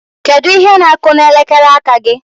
Kedu ihe na-akụ n'elekere aka gị?